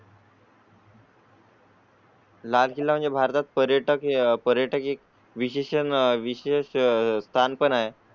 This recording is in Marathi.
लाल किल्ला म्हणजे भारतात पर्यटक पर्यटक एक विश्लेशन विशेष स्थान पण आहे.